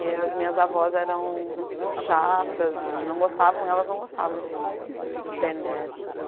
E as minhas avós eram chatas e não gostavam, elas não gostavam de de ter netos.